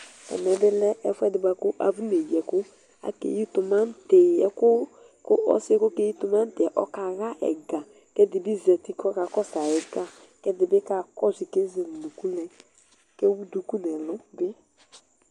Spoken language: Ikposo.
Amɛ bi lɛ ɛfʋedi buaku afɔ neyi ɛkʋ akeyi tumati kʋ ɔsiyɛ kʋ ɔkeyi tumati ɔkaxa ɛga kʋ ɛdibi zati kʋ ɔka kɔsʋ ayʋ ɛga ɛdibi kakɔsʋyi kʋ ezele ʋnʋkʋ nyi kʋ ewʋ duku nʋ ɛlʋ